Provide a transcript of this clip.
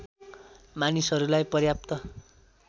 मानिसहरूलाई पर्याप्त